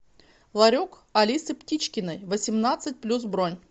ларек алисы птичкиной восемнадцать плюс бронь